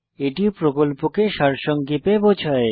এটি প্রকল্পকে সারসংক্ষেপে বোঝায়